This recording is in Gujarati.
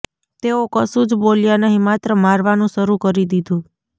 તેઓ કશું જ બોલ્યા નહીં માત્ર મારવાનું શરૂ કરી દીધું